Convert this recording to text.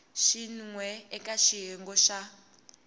xin we eka xiyenge xa